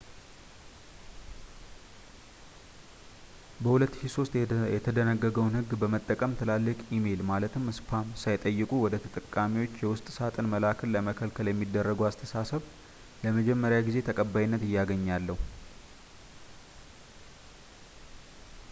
በ2003 የተደነገገውን ሕግ በመጠቀም ትላልቅ ኢሜል ማለትም spam ሳይጠየቁ ወደ ተጠቃሚዎች የውስጥ ሳጥን መላክን ለመከልከል የሚደረገው አስተሳሰብ ለመጀመሪያ ጊዜ ተቀባይነት እያገኘ ያለው